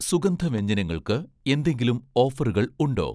സുഗന്ധവ്യഞ്ജനങ്ങൾക്ക് എന്തെങ്കിലും ഓഫറുകൾ ഉണ്ടോ?